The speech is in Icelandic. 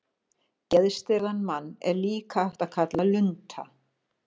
Geðstirðan mann er líka hægt að kalla lunta.